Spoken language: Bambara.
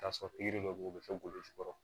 Taa sɔrɔ pikiri dɔ bɛ yen u bɛ fɛ golo jukɔrɔ